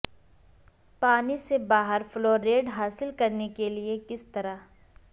پانی سے باہر فلوریڈ حاصل کرنے کے لئے کس طرح